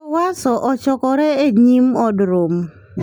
Jo-Warsaw ochokore e nyim Od Romo.